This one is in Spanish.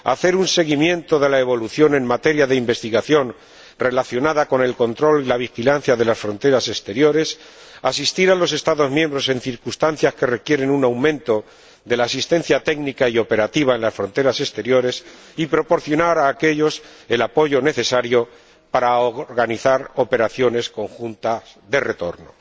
hacer un seguimiento de la evolución en materia de investigación relacionada con el control y la vigilancia de las fronteras exteriores asistir a los Estados miembros en circunstancias que requieren un aumento de la asistencia técnica y operativa en las fronteras exteriores, y proporcionar a aquéllos el apoyo necesario para organizar operaciones conjuntas de retorno.